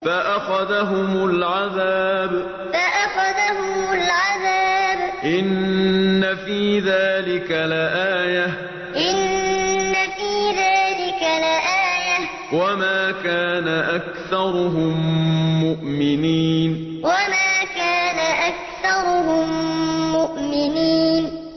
فَأَخَذَهُمُ الْعَذَابُ ۗ إِنَّ فِي ذَٰلِكَ لَآيَةً ۖ وَمَا كَانَ أَكْثَرُهُم مُّؤْمِنِينَ فَأَخَذَهُمُ الْعَذَابُ ۗ إِنَّ فِي ذَٰلِكَ لَآيَةً ۖ وَمَا كَانَ أَكْثَرُهُم مُّؤْمِنِينَ